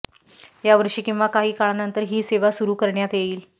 यावर्षी किंवा काही काळानंतर ही सेवा सुरु करण्यात येईल